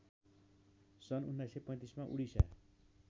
सन १९३५मा उडिसा